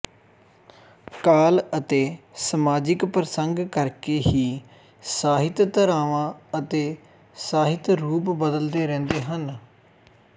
ਕਾਲ ਅਤੇੇ ਸਮਾਜਿਕ ਪ੍ਰਸੰਗ ਕਰਕੇ ਹੀ ਸਾਹਿਤ ਧਾਰਵਾਂ ਅਤੇ ਸਾਹਿਤ ਰੂਪ ਬਦਲਦੇ ਰਹਿੰਦੇ ਹਨ